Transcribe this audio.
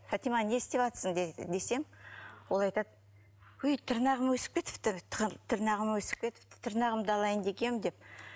фатима не істеватсың десем ол айтады өй тырнағым өсіп кетіпті тырнағым өсіп кетіпті тырнағымды алайын дегем деп